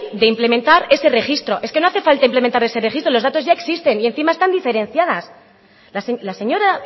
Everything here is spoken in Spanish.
de implementar ese registro es que no hace falta implementar ese registro los datos ya existen y encima están diferenciadas la señora